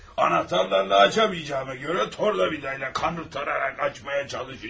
Anahtarlarla açamayacağıma görə tornavida ilə kanırtararaq açmağa çalışacağam.